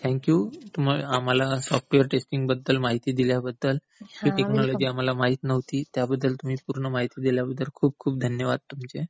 Thank you आम्हाला software testing बद्दल माहिती दिल्याबद्दल. ही टेकनॉलॉजी आम्हाला माहित नव्हती. त्याबद्दल तुम्ही पूर्ण माहिती दिल्याबद्दल खूप खूप धन्यवाद तुमचे.